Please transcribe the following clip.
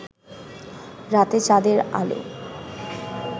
রাতে চাঁদের আলো